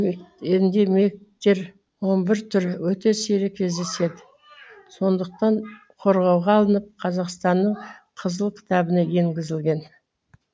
эндемиктер он бір түрі өте сирек кездеседі сондықтан қорғауға алынып қазақстанның қызыл кітабына енгізілген